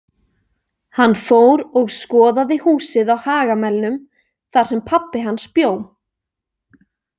Hann fór og skoðaði húsið á Hagamelnum þar sem pabbi hans bjó.